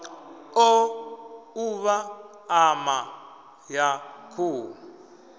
o ṱuvha ṋama ya khuhu